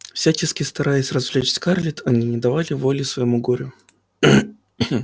всячески стараясь развлечь скарлетт они не давали воли своему горю